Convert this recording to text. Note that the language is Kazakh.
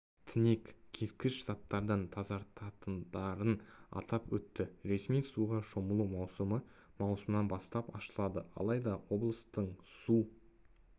тінек-кескіш заттардан тазартатындарын атап өтті ресми суға шомылу маусымы маусымнан бастап ашылады алайда облыстың су